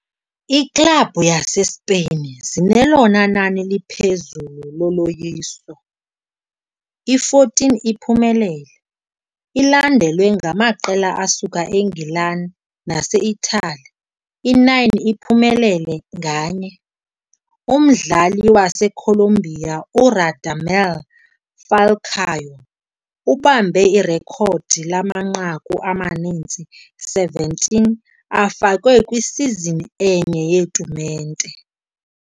Iiklabhu zaseSpain zinelona nani liphezulu loloyiso, i-14 iphumelele, ilandelwa ngamaqela asuka eNgilani nase-Italy, i-9 iphumelele nganye. Umdlali waseColombia uRadamel Falcao ubambe irekhodi lamanqaku amaninzi, 17, afakwe kwisizini enye yetumente.